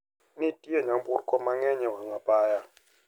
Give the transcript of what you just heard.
Ne nitie nyamburko mang`eny e wang` apaya.